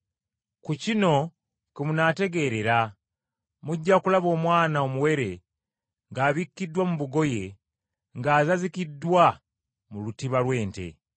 Ku kino kwe munaamutegeerera: Mujja kulaba omwana omuwere, ng’abikkiddwa mu ngoye, ng’azazikiddwa mu lutiba lw’ente.”